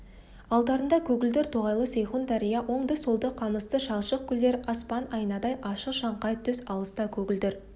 алдарында көгілдір тоғайлы сейхун дария оңды-солды қамысты шалшық көлдер аспан айнадай ашық шаңқай түс алыста көгілдір